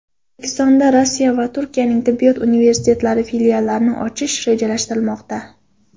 O‘zbekistonda Rossiya va Turkiyaning tibbiyot universitetlari filiallarini ochish rejalashtirilmoqda.